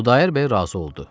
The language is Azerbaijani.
Xudayar bəy razı oldu.